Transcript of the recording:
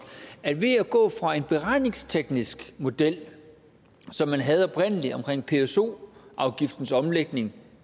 at ved at gå fra en beregningsteknisk model som man havde oprindelig omkring pso afgiftens omlægning